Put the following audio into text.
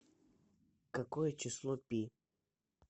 какое число пи